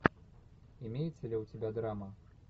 имеется ли у тебя драма